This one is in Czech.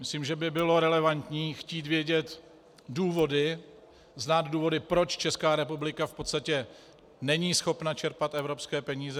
Myslím, že by bylo relevantní chtít vědět důvody, znát důvody, proč Česká republika v podstatě není schopna čerpat evropské peníze.